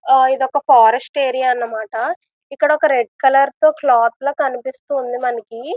ఇది ఒక forest area అన్నమాట. ఇక్కడ ఒక రెడ్ కలర్ క్లాత్ లాగా కనిపిస్తుంది మనకి.